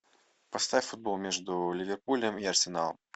поставь футбол между ливерпулем и арсеналом